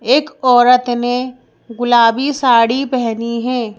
एक औरत ने गुलाबी साड़ी पहनी है ।